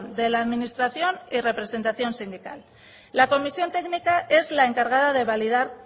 de la administración y representación sindical la comisión técnica es la encargada de validar